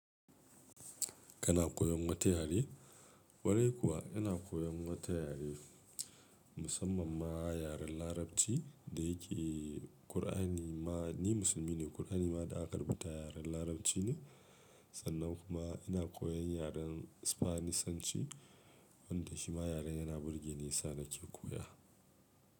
Kana koyan wata yare? Kwarai kuwa ina koyan wata yare, musamman ma yaren Larabci da yake Kur'ani ma, ni musulmi ne. Kur'ani ma da aka rubuta yaren Larabci ne. Sannan kuma koyan yaran spanisanci wanda Shima yaran yana burgeni shi yasa nake koya.